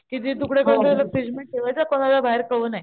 कि तिचे तुकडे करून फ्रिज मध्ये ठेवायच कोणाला बाहेर कळू नाही.